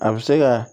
A bɛ se ka